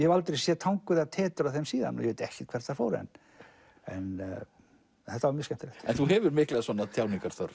hef aldrei séð tangur eða tetur af þeim síðan ég veit ekkert hvert þær fóru en en þetta var mjög skemmtilegt en þú hefur mikla